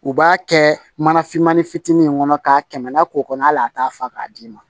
U b'a kɛ mana fimani fitinin min kɔnɔ k'a kɛmɛ lak'o kɔnɔ hali a t'a fa k'a d'i ma